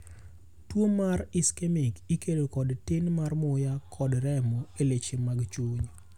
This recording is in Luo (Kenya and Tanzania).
Tuo ma ischemc ikelo kod tin mar muya kod remo e leche mag chuny.